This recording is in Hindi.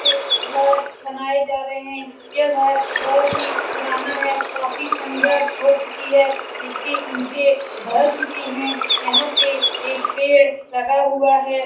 पे घर बनाये जा रहे है यह घर बहुत ही पुराना है काफी खण्डर हो चुकी है इसके ईटे ढह चुके है यहाँ पे एक पेड़ लगा हुआ हैं।